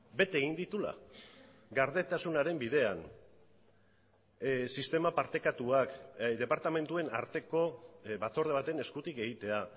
bete egin dituela gardentasunaren bidean sistema partekatuak departamentuen arteko batzorde baten eskutik egitea